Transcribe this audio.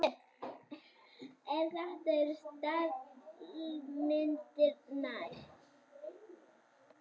En þetta eru staðalmyndirnar.